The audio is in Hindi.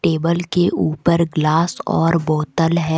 टेबल के ऊपर ग्लास और बोतल है।